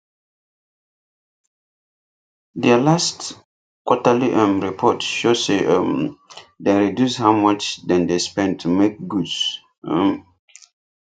der last quarterly um report show say um dem reduce how much dem dey spend to make goods um